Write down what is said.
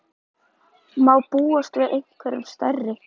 Má búast við einhverjum stærri?